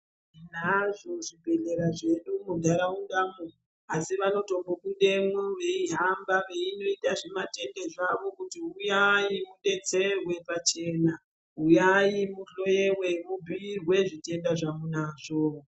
Tinazvo zvibhedhlera zvedu mundaraundamo asi vanotombo budemwo veihamba veinoita zvimatende zvavo kuti huyai kudetserwe pachena huyai muhloyiwe mubhiirwe zvitenda zvamunazvo.